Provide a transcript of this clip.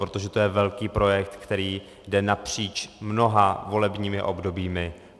Protože to je velký projekt, který jde napříč mnoha volebními obdobími.